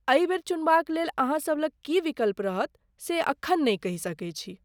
एहि बेर चुनबाक लेल अहाँसब लग की विकल्प रहत से एखन नै कहि सकै छी।